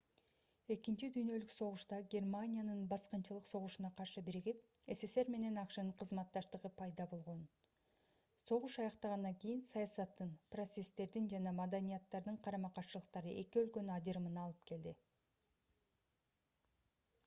экинчи дүйнөлүк согушта германиянын баскынчылык согушуна каршы биригип ссср менен акшнын кызматташтыгы пайда болгон согуш аяктагандан кийин саясаттын процесстердин жана маданияттардын карама-каршылыктары эки өлкөнүн ажырымына алып келди